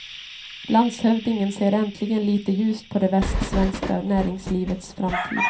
Landshövdingen ser äntligen litet ljust på det västsvenska näringslivets framtid.